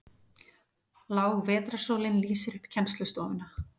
Lág vetrarsólin lýsir upp kennslustofuna.